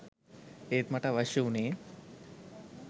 ඒත් මට අවශ්‍ය වුණේ